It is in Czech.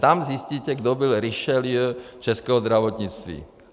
Tam zjistíte, kdo byl Richelieu českého zdravotnictví.